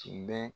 Tun bɛ